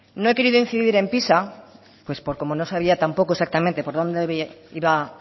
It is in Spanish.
no he querido incidir en pisa porque como no sabía tampoco exactamente por dónde iba